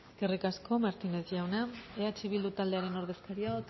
eskerrik asko martínez jauna eh bildu taldearen ordezkaria